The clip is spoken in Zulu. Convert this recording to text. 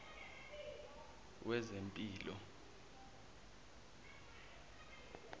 wezempilo